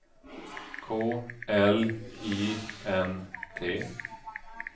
K L I N T